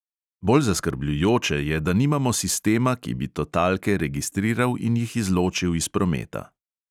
Bolj zaskrbljujoče je, da nimamo sistema, ki bi totalke registriral in jih izločill iz prometa.